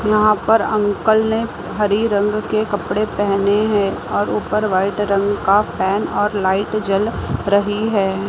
यहां पर अंकल ने हरी रंग के कपड़े पहने हैं और ऊपर वाइट रंग का फैन और लाइट जल रही है।